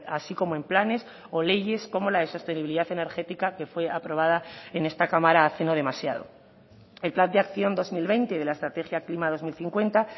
así como en planes o leyes como la de sostenibilidad energética que fue aprobada en esta cámara hace no demasiado el plan de acción dos mil veinte de la estrategia klima dos mil cincuenta